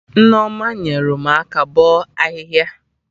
Nneoma nyere m aka bọ ahịhịa